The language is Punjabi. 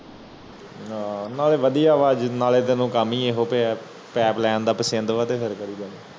ਹਨ ਨਾਲੇ ਵਾਦੀਆਂ ਵਾ ਨਾਲੇ ਕਾਮ ਹੀ ਇਹ ਤੇ pipe line ਦਾ ਪਸੰਦ ਹੈ ਤੇ ਹੋਰ ਕਰਿ ਜਾ